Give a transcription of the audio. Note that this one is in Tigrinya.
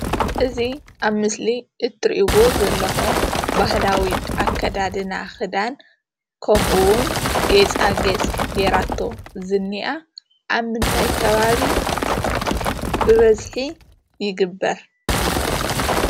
እዚ አብ ምስሊ እትሪኢዎ ዘለኹም ባህላዊ አከዳዳና ክዳን ከምኡ እውን ጌፃጌፅ ጌራቶም ዝኒኣ ኣብ ምንታይ ከባቢ ብበዚሒ ይግብር?